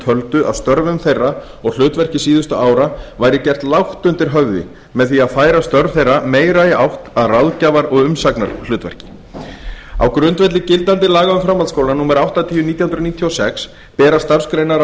töldu að störfum þeirra og hlutverki síðustu ára væri gert lágt undir höfði með því að færa störf þeirra meira í átt að ráðgjafar og umsagnarhlutverki á grundvelli gildandi laga um framhaldsskóla númer áttatíu nítján hundruð níutíu og sex bera